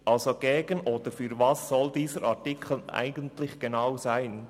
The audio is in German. Also gegen oder für was soll dieser Artikel eigentlich genau sein?